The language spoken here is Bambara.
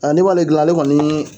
n'i b'ale gilan ale kɔni